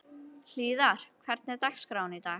Hlíðar, hvernig er dagskráin í dag?